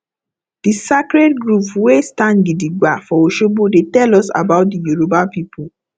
di sacred groove wey stand gidigba for oshogo dey tell us about the yoruba pipo